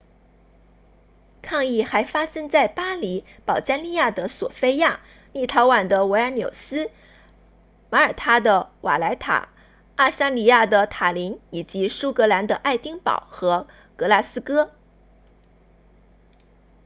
抗议还发生在巴黎保加利亚的索非亚立陶宛的维尔纽斯马耳他的瓦莱塔爱沙尼亚的塔林以及苏格兰的爱丁堡和格拉斯哥